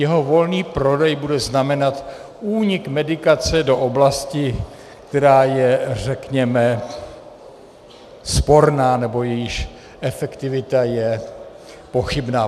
Jeho volný prodej bude znamenat únik medikace do oblasti, která je, řekněme, sporná nebo jejíž efektivita je pochybná.